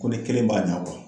Ko kelen b'a ɲa